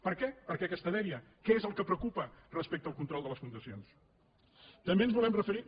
per què per què aquesta dèria què és el que preocupa respecte al control de les fundacions també ens volem referir